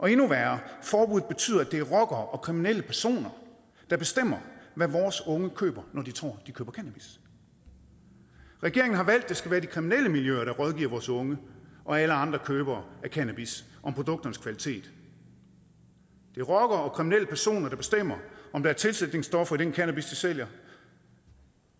er endnu værre forbuddet betyder at det er rockere og kriminelle personer der bestemmer hvad vores unge køber når de tror de køber cannabis regeringen har valgt at det skal være de kriminelle miljøer der rådgiver vores unge og alle andre købere af cannabis om produkternes kvalitet det er rockere og kriminelle personer der bestemmer om der er tilsætningsstoffer i den cannabis de sælger